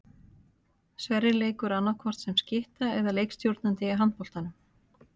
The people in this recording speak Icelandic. Sverrir leikur annaðhvort sem skytta eða leikstjórnandi í handboltanum.